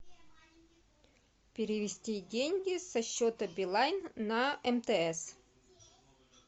перевести деньги со счета билайн на мтс